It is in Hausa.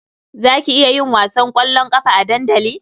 Za ki iya yin wasan ƙwallon ƙafa a dandali?